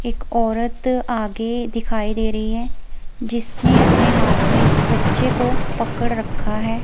एक औरत आगे दिखाई दे रही है जिसने अपने हाथ में एक बच्चे को पकड़ रखा है।